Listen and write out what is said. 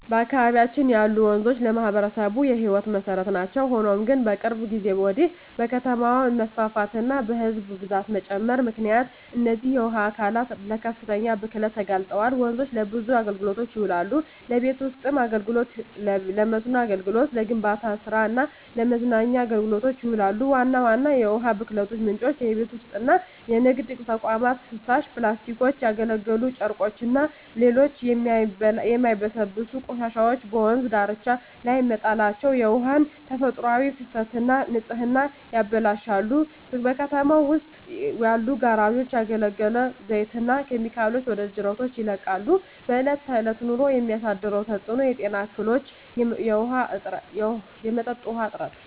በአካባቢያችን ያሉ ወንዞች ለማኅበረሰቡ የሕይወት መሠረት ናቸው። ሆኖም ግን፣ ከቅርብ ጊዜ ወዲህ በከተማ መስፋፋትና በሕዝብ ብዛት መጨመር ምክንያት እነዚህ የውሃ አካላት ለከፍተኛ ብክለት ተጋልጠዋል። ወንዞች ለብዙ አገልግሎቶች ይውላሉ። ለቤት ውስጥ አገልግሎ፣ ለመስኖ አገልግሎት፣ ለግንባታ ስራ እና ለመዝናኛ አገልግሎቶች ይውላሉ። ዋና ዋና የውሃ ብክለት ምንጮች:- የቤት ውስጥና የንግድ ተቋማት ፍሳሽ፣ ፕላስቲኮች፣ ያገለገሉ ጨርቆችና ሌሎች የማይበሰብሱ ቆሻሻዎች በወንዝ ዳርቻዎች ላይ መጣላቸው የውሃውን ተፈጥሯዊ ፍሰትና ንጽህና ያበላሻሉ። በከተማው ውስጥ ያሉ ጋራዦች ያገለገለ ዘይትና ኬሚካሎችን ወደ ጅረቶች ይለቃሉ። በእለት በእለት ኑሮ የሚያሳድረው ተጽኖ:- የጤና እክሎች፣ የመጠጥ ውሀ እጥረት…